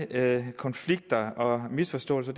med konflikter og misforståelser